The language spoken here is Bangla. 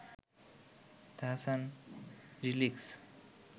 তাহসান লিরিক্স